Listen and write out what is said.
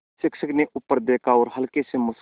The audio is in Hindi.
शिक्षक ने ऊपर देखा और हल्के से मुस्कराये